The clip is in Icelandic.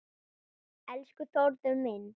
Elsku Þórður minn.